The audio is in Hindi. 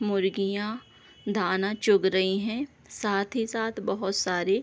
मुर्गियाँ दाना चुग रही हैं साथ ही साथ बहोत सारी --